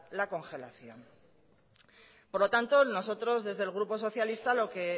la congelación por lo tanto nosotros desde el grupo socialista lo que